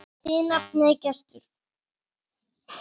Þín nafna Gerður.